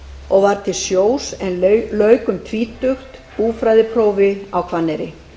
og var til sjós en lauk um tvítugt búfræðiprófi á hvanneyri